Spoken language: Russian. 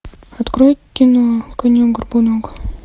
открой кино конек горбунок